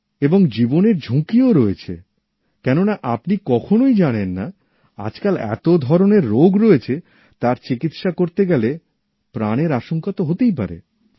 এবং জীবনের ঝুঁকিও রয়েছে কেন আপনি কখনই জানেন না আজকাল এতো ধরণের রোগ রয়েছে তার চিকিৎসা করতে গেলে প্রাণের আশঙ্কা তো হতেই পারে